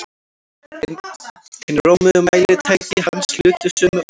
Hin rómuðu mælitæki hans hlutu sömu örlög.